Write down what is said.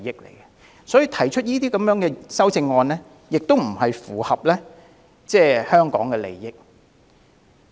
同樣地，提出上述修正案亦不符合香港的利益。